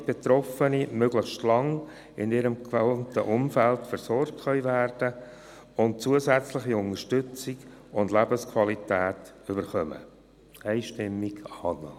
Damit Betroffene möglichst lange in ihrem gewohnten Umfeld versorgt werden können und zusätzliche Unterstützung sowie Lebensqualität erhalten: